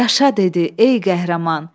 Yaşa dedi: ey qəhrəman!